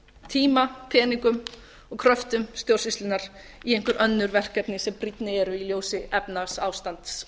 tíma peningum og kröftum stjórnsýslunnar í einhver önnur verkefni sem brýnni eru í ljósi efnahagsástands